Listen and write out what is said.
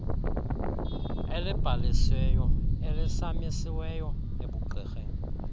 elibhalisiweyo elisamisiweyo ebugqirheni